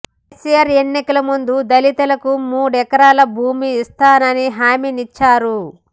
కేసీఆర్ ఎన్నికల ముందు దళితులకు మూడెకరాల భూమి ఇస్తానని హమీనిచ్చారు